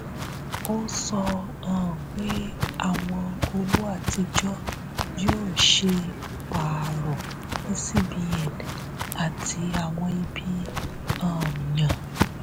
ó sọ um pé àwọn owó àtijọ́ yóò ṣe pààrọ̀ ní cbn àti àwọn ibi um yàn.